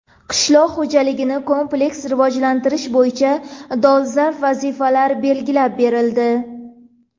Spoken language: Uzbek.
Qishloq xo‘jaligini kompleks rivojlantirish bo‘yicha dolzarb vazifalar belgilab berildi.